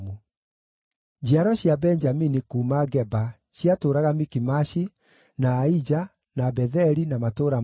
Njiaro cia Benjamini kuuma Geba ciatũũraga Mikimashi, na Aija, na Betheli na matũũra marĩo,